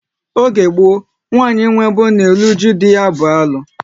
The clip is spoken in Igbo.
Oge gboo, nwanyị ịnwụ ebe ọ na eru uju dị ya bụ alu